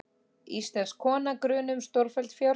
Íslensk kona grunuð um stórfelld fjársvik